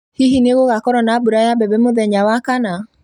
Hihi nĩ gũgakorwo na mbura ya mbembe mũthenya wa Wakana